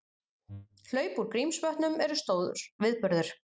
Hlaup úr Grímsvötnum eru stór viðburður